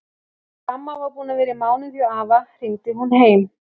Þegar amma var búin að vera í mánuð hjá afa hringdi hún heim.